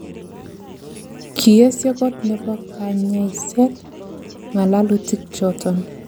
Kiesio kot nebo kanyaiset ngalalutik choton